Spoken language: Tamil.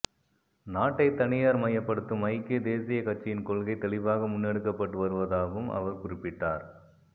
நாட்டை தனியார் மயப்படுத்தும் ஐக்கிய தேசியக் கட்சியின் கொள்கை தெளிவாக முன்னெடுக்கப்பட்டு வருவதாவும் அவர் குறிப்பிட்டார்